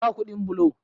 Ba kudin bulo